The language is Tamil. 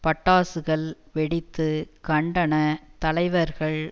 பட்டாசுகள் வெடித்து கண்டன தலைவர்கள்